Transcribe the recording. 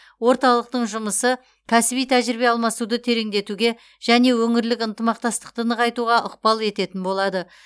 орталықтың жұмысы кәсіби тәжірибе алмасуды тереңдетуге және өңірлік ынтымақтастықты нығайтуға ықпал ететін болады